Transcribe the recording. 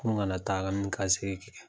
An kana taaka ni kasegin kɛ.